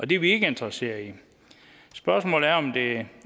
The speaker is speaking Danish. det er vi ikke interesserede i spørgsmålet er om det